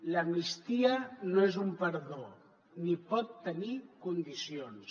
l’amnistia no és un perdó ni pot tenir condicions